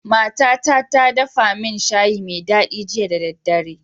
Mata ta ta dafa min shayi me dadi jiya da dare